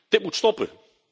Dit moet stoppen.